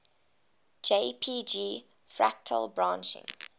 jpg fractal branching